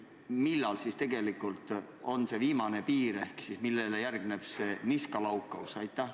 Ja millal siis tegelikult on see viimane piir ehk siis millele järgneb see niskalaukaus?